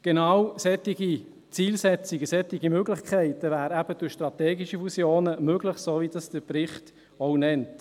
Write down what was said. Genau solche Zielsetzungen, solche Möglichkeiten wären eben durch strategische Fusionen möglich, soweit diese der Bericht auch nennt.